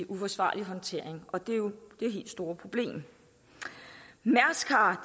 uforsvarlig håndtering og det er jo det helt store problem mærsk har